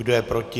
Kdo je proti?